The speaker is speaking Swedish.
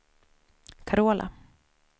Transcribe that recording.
Carola